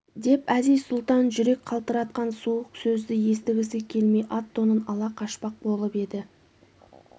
деп әзиз-сұлтан жүрек қалтыратқан суық сөзді естігісі келмей ат-тонын ала қашпақ болып еді